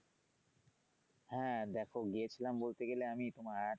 হ্যা দেখো গিয়েছিলাম বলতে গেলে আমি তোমার,